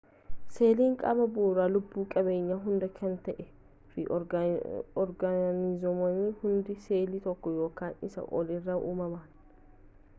seeliin qaama bu'uuraa lubbu qabeeyyii hundaa kan ta'ee fi oorgaanizimoonni hundis seelii tokko yookaan isaa ol irraa uumaman